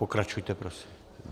Pokračujte prosím.